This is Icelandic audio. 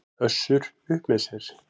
Össur upp með sér.